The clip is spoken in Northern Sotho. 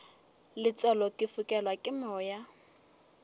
letswalo ke fokelwa ke moya